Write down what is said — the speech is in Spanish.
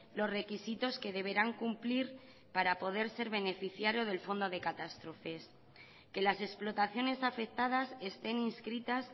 los requisitos que deberán cumplir para poder ser beneficiarios del fondo de catástrofes que las explotaciones afectadas estén inscritas